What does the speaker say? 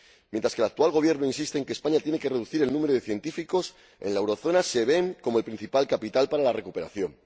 Mientras el actual Gobierno insiste en que España tiene que reducir el número de científicos, en la zona del euro se ven como el principal capital para la recuperación.